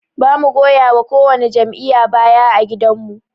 Bamu goyawa ko wani jam'iyya baya ã gidan mu.